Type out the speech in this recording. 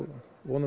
vonum